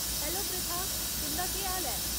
Hello, Pritha. तुं'दा केह् हाल ऐ ?